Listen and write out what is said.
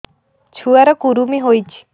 ଛୁଆ ର କୁରୁମି ହୋଇଛି